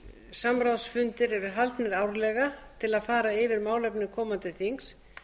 samráðsfundir eru haldnir árlega til að fara yfir málefni komandi þings